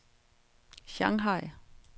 Shanghai